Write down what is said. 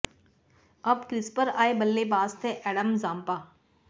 अब क्रीज पर आए बल्लेबाज थे एडम जांपा